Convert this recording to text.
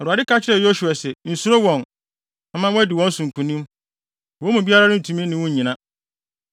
Awurade ka kyerɛɛ Yosua se, “Nsuro wɔn; mɛma woadi wɔn so nkonim. Wɔn mu biara rentumi ne wo nnyina.”